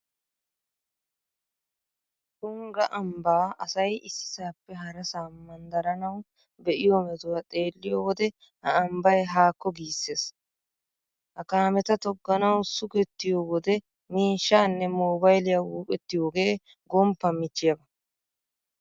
Tungga ambbaa asay issisaappe harasaa manddaranawu be'iyo metuwa xeelliyo wode ha ambbay haakko giissees. Ha kaameta togganawu sugettiyo wode miishshaanne moobayliya wuuqettiyogee gomppan michchiyaba.